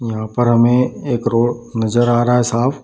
यहाँ पर हमें एक रोड नज़र आ रहा है साफ़।